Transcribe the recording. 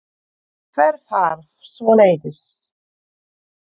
Hver þarf svoleiðis?